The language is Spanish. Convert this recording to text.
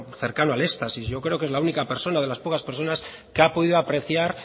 cercano al éxtasis yo creo que es la única persona de las pocas personas que ha podido apreciar